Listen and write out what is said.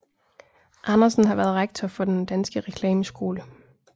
Andersen har været rektor for Den Danske Reklameskole